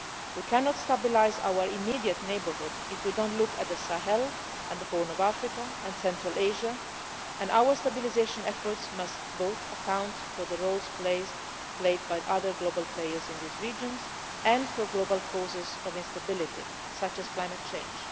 We cannot stabilise our immediate neighbourhood if we do not look at the Sahel, the Horn of Africa and Central Asia, and our stabilisation efforts must account both for the roles played by other global players in these regions and for global causes of instability, such as climate change.